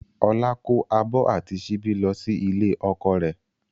Ọlá kó abọ́ àti síbí lọ sí ilé ọkọ rẹ̀